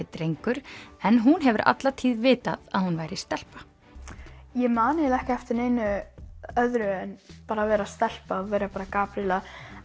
drengur en hún hefur alla tíð vitað að hún væri stelpa ég man eiginlega ekki eftir neinu öðru en bara að vera stelpa vera bara Gabríela